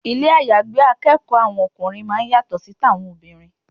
Ilé àyágbé akẹ́kọ̀ọ́ ọkùnrin máa ń yàtọ̀ sí ti àwọn obìnrin.